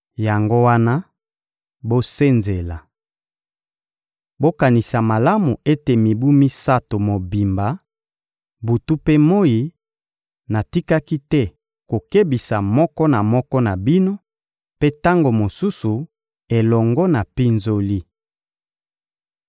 Yango wana, bosenzela! Bokanisa malamu ete mibu misato mobimba, butu mpe moyi, natikaki te kokebisa moko na moko na bino, mpe tango mosusu elongo na mpinzoli.